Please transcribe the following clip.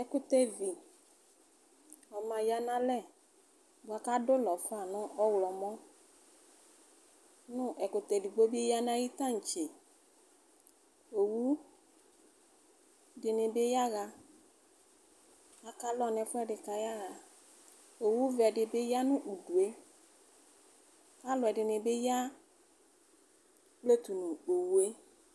Ɛkʋtɛvi ma ya nʋ alɛ buakʋ adʋ ʋlɔfa nʋ ɔwlɔmɔ nʋ ɛkʋtɛ edigbo bi yanʋ ayʋ tantse owʋ dini bi akalɔ nʋ ɛfʋedi kʋ ayaxa owʋ vɛdi bi yanʋ ʋdʋe alʋ ɛdini bi ya kpletʋ nʋ owʋe